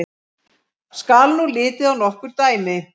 Skal nú litið á nokkur dæmi.